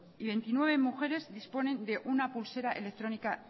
y veintinueve mujeres disponen de una pulsera electrónica